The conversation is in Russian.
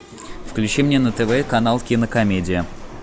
включи мне на тв канал кинокомедия